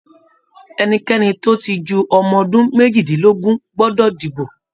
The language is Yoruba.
Ẹnikẹni tó ti ju ọmọ ọdún méjìdínlógún gbọdọ dibo